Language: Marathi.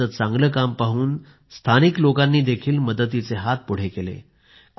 त्यांचे चांगलं काम पाहून स्थानिक लोकांनीही मदतीचे हात पुढे केले